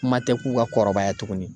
Kuma tɛ k'u ka kɔrɔbaya tuguni.